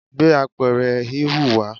gbé apẹ̀rẹ̀ híhun wa